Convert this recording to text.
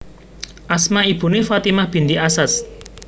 Asma ibuné Fatimah binti Asasd